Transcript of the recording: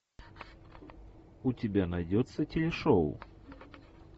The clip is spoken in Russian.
у тебя найдется телешоу